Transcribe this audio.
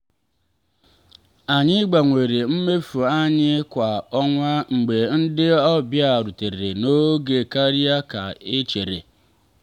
anyị gbanwere mmefu anyị kwa ọnwa mgbe ndị ọbịa rutere n'oge karịa ka e chere.